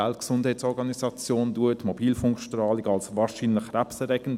Die WHO bezeichnet Mobilfunkstrahlung als wahrscheinlich krebserregend.